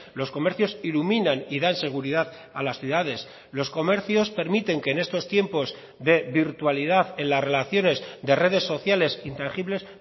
los comercios iluminan y dan seguridad a las ciudades los comercios permiten que en estos tiempos de virtualidad en las relaciones de redes sociales intangibles